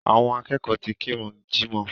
Àwọn akẹ́kọ̀ọ́ ti kírun jímọ̀